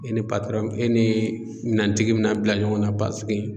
E ni patɔrɔn e nee minɛntigi bina bila ɲɔgɔn na paseke